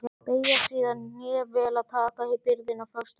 Beygja síðan hné vel og taka byrðina föstum tökum.